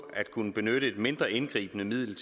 at kunne benytte et mindre indgribende middel